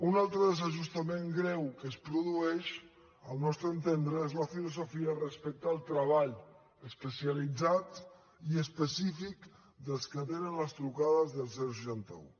un altre desajust greu que es produeix al nostre entendre és la filosofia respecte al treball especialitzat i específic dels que atenen les trucades del seixanta un